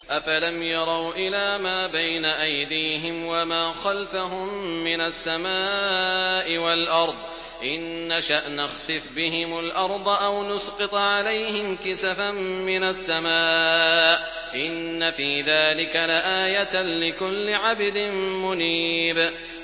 أَفَلَمْ يَرَوْا إِلَىٰ مَا بَيْنَ أَيْدِيهِمْ وَمَا خَلْفَهُم مِّنَ السَّمَاءِ وَالْأَرْضِ ۚ إِن نَّشَأْ نَخْسِفْ بِهِمُ الْأَرْضَ أَوْ نُسْقِطْ عَلَيْهِمْ كِسَفًا مِّنَ السَّمَاءِ ۚ إِنَّ فِي ذَٰلِكَ لَآيَةً لِّكُلِّ عَبْدٍ مُّنِيبٍ